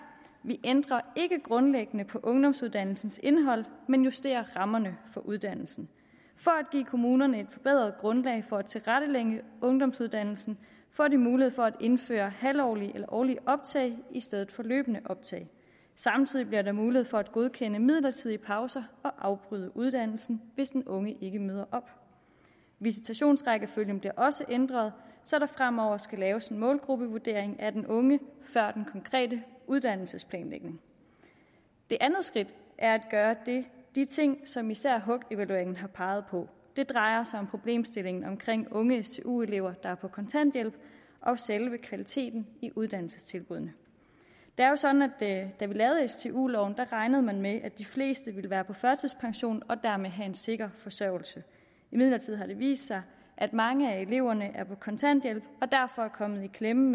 vi ændrer ikke grundlæggende på ungdomsuddannelsens indhold men justerer rammerne for uddannelsen for at give kommunerne et forbedret grundlag for at tilrettelægge ungdomsuddannelsen får de mulighed for at indføre halvårlige eller årlige optag i stedet for løbende optag samtidig bliver der mulighed for at godkende midlertidige pauser og afbryde uddannelsen hvis den unge ikke møder op visitationsrækkefølgen bliver også ændret så der fremover skal laves en målgruppevurdering af den unge før den konkrete uddannelsesplanlægning det andet skridt er at gøre de ting som især hug evalueringen har peget på det drejer sig om problemstillingen omkring unge stu elever der er på kontanthjælp og selve kvaliteten i uddannelsestilbuddene det er jo sådan at da vi lavede stu loven regnede man med at de fleste ville være på førtidspension og dermed have en sikker forsørgelse imidlertid har det vist sig at mange af eleverne er på kontanthjælp og er kommet i klemme